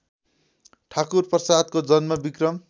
ठाकुरप्रसादको जन्म विक्रम